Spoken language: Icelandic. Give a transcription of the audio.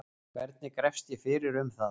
hvernig grefst ég fyrir um það